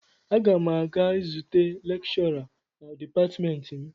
Aga m aga zute lekshọra na dipatịmentị m.